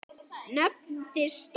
Nefndir starfa